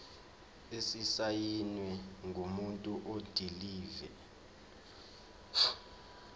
esisayinwe ngumuntu odilive